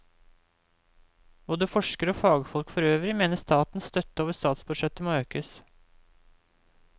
Både forskere og fagfolk forøvrig mener statens støtte over statsbudsjettet må økes.